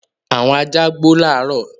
Àwọn ajá gbò laro.